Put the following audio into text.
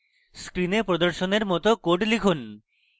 screen প্রদর্শনের মত code লিখুন